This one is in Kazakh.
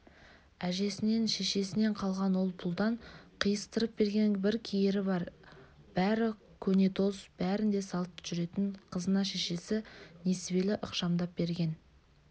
әжесінен шешесінен қалған ол-пұлдан қиыстырып берген бір киері бар бәрі көнетоз бәрін де салт жүретін қызына шешесі несібелі ықшамдап берген